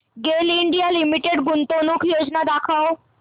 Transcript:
गेल India limited गुंतवणूक योजना दाखव